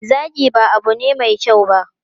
Zagi ba abu ne mai kyau ba.